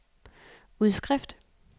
udskrift